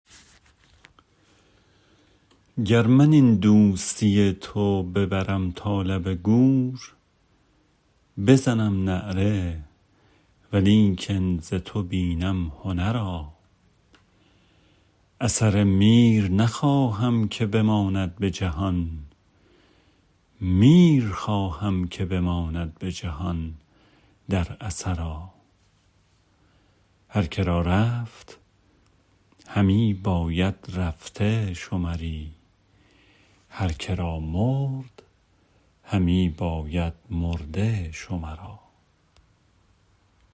گر من این دوستی تو ببرم تا لب گور بزنم نعره ولیکن ز تو بینم هنرا اثر میر نخواهم که بماند به جهان میر خواهم که بماند به جهان در اثرا هرکه را رفت همی باید رفته شمری هرکه را مرد همی باید مرده شمرا